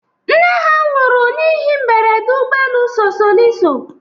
Nne ha nwụrụ n'ihi mberede ụgbọelu sosoliso.